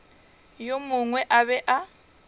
yo mongwe a be a